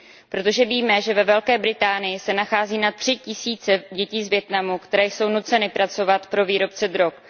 Protože víme, že ve Velké Británii se nachází na tři tisíce dětí z Vietnamu, které jsou nuceny pracovat pro výrobce drog.